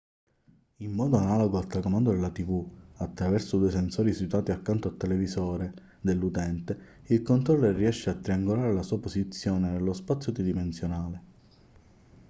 in modo analogo al telecomando della tv attraverso due sensori situati accanto al televisore dell'utente il controller riesce a triangolare la sua posizione nello spazio tridimensionale